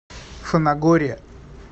фанагория